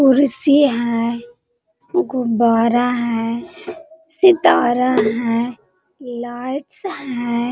कुर्सी है गुब्बारा है सितारा है लाइट्स हैं।